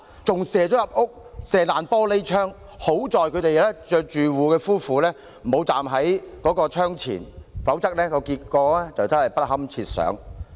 催淚彈打破玻璃窗，更射進屋內，幸好住戶夫婦沒有站在窗前，否則後果不堪設想。